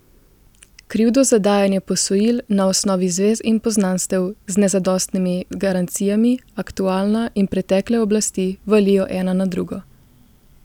Krivdo za dajanje posojil na osnovi zvez in poznanstev z nezadostnimi garancijami aktualna in pretekle oblasti valijo ena na drugo.